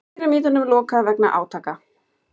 Pýramídunum lokað vegna átaka